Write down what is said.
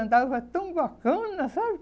Andava tão bacana, sabe?